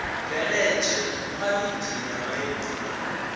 bveledzwe khwalithi ya maimo a